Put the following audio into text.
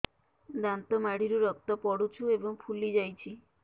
ଦାନ୍ତ ମାଢ଼ିରୁ ରକ୍ତ ପଡୁଛୁ ଏବଂ ଫୁଲି ଯାଇଛି